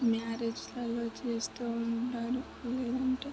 Marriage లాల్ లో చేస్తూ ఉంటారు ఇలాంటివి.